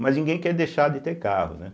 Mas ninguém quer deixar de ter carro, né?